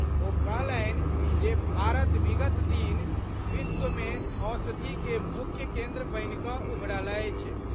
ओ कहलनि जे भारत विगत दिन विश्व मे औषधि के मुख्य केन्द्र बनि कऽ उभरल अछि।